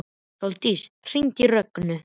Sóldís, hringdu í Rögnu.